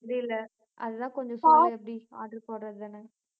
அப்படி இல்ல. அதுதான் கொஞ்சம் சொல்லு எப்படி order போடறதுன்னு